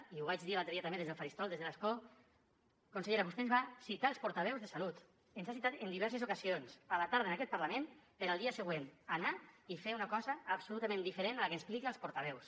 i ho vaig dir l’altre dia també des del faristol des de l’escó consellera vostè ens va citar als portaveus de salut ens ha citat en diverses ocasions a la tarda en aquest parlament per al dia següent anar i fer una cosa absolutament diferent a la que ha explicat als portaveus